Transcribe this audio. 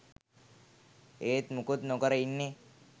ඒත් මුකුත් නොකර ඉන්නේ